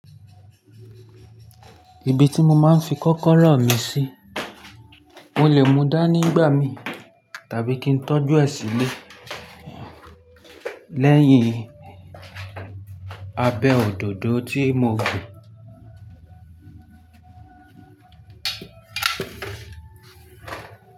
Ibi tí mo máa ń fi kọ́kọ́rọ́ mi sí, mo lè mú dá ni nígbà mí tàbí kí n tọ́jú ẹ sílẹ̀ lẹ́yìn abẹ́ òdòdó tí mo gbìn.